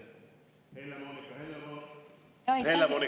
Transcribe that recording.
Helle‑Moonika Helme, palun!